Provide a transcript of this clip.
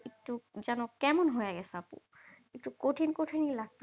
যেন কেমন হয়ে গেছে আপু? একটু কঠিন কঠিনই লাগতেছে।